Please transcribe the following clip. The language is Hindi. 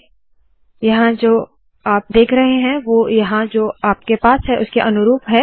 अब यहाँ जो आप देख रहे है वोह यहाँ जो आपके पास है उसके अनुरूप है